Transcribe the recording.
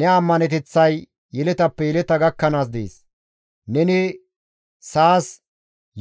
Ne ammaneteththay yeletappe yeleta gakkanaas dees; neni sa7as